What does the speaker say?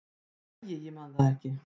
"""Æ, ég man það ekki."""